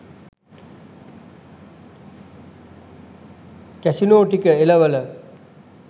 casino ටික එලවල